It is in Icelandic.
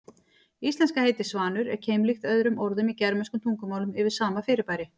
Íslenska heitið svanur er keimlíkt öðrum orðum í germönskum tungumálum yfir sama fyrirbæri.